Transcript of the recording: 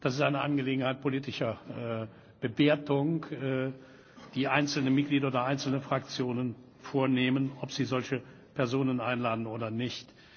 Es ist eine Angelegenheit politischer Bewertung, die einzelne Mitglieder oder einzelne Fraktionen vornehmen, ob sie solche Personen einladen oder nicht.